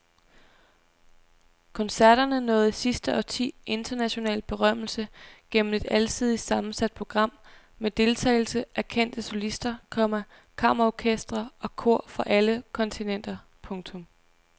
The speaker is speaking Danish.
Koncerterne nåede i sidste årti international berømmelse gennem et alsidigt sammensat program med deltagelse af kendte solister, komma kammerorkestre og kor fra alle kontinenter. punktum